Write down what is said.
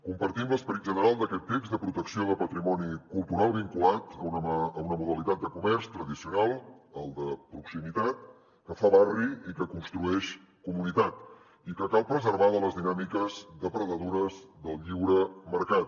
compartim l’esperit general d’aquest text de protecció de patrimoni cultural vinculat a una modalitat de comerç tradicional el de proximitat que fa barri i que construeix comunitat i que cal preservar de les dinàmiques depredadores del lliure mercat